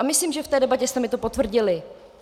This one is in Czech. A myslím, že v té debatě jste mi to potvrdili.